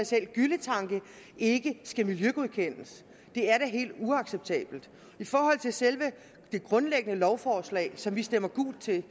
selv gylletanke ikke skal miljøgodkendes det er da helt uacceptabelt i forhold til selve det grundlæggende lovforslag som vi stemmer gult til